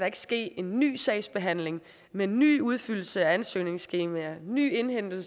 ikke ske en ny sagsbehandling med ny udfyldelse af ansøgningsskemaer ny indhentning